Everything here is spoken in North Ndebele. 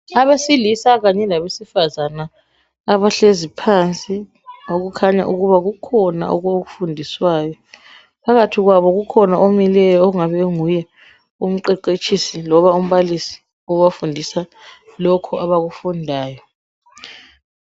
Abesilisa kanye labesifazana abahlezi phansi okukhanya ukuba kukhona abakufundiswayo. Phakathi kwabo kukhona omileyo ongabe enguye umqeqetshisi loba umbalisi obafundisa lokhu abakufundayo.